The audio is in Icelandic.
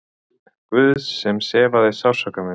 Guðs sem sefaði sársauka minn.